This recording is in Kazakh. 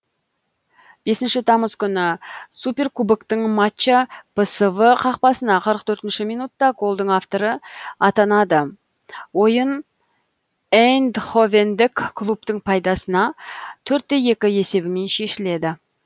бесінші тамыз күні суперкубоктық матчта псв қақпасына қырық төртінші минутта голдың авторы атанады ойын эйндховендік клубтың пайдасына төрт те екі есебімен шешіледі